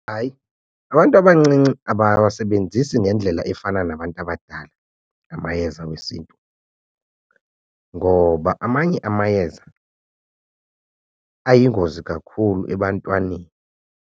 Hayi, abantu abancinci abawasebenzisi ngendlela efana nabantu abadala amayeza wesiNtu ngoba amanye amayeza ayingozi kakhulu ebantwaneni.